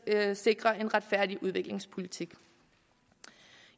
at sikre en retfærdig udviklingspolitik